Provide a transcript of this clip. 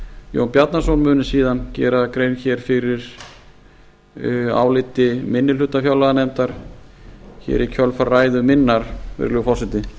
jón bjarnason muni síðan gera grein hér fyrir áliti minni hluta fjárlaganefndar hér í kjölfar ræðu minnar virðulegi forseti